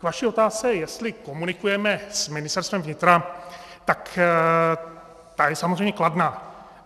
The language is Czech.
K vaší otázce, jestli komunikujeme s Ministerstvem vnitra, tak ta je samozřejmě kladná.